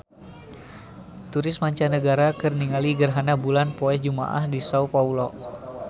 Turis mancanagara keur ningali gerhana bulan poe Jumaah di Sao Paolo